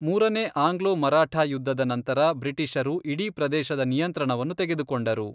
ಮೂರನೇ ಆಂಗ್ಲೋ ಮರಾಠ ಯುದ್ಧದ ನಂತರ, ಬ್ರಿಟಿಷರು ಇಡೀ ಪ್ರದೇಶದ ನಿಯಂತ್ರಣವನ್ನು ತೆಗೆದುಕೊಂಡರು.